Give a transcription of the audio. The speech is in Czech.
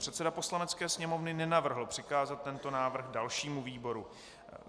Předseda Poslanecké sněmovny nenavrhl přikázat tento návrh dalšímu výboru.